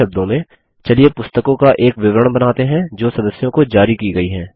दूसरे शब्दों में चलिए पुस्तकों का एक विवरण बनाते हैं जो सदस्यों को जारी की गयी हैं